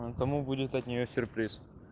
ээ тому будет от нее сюрприз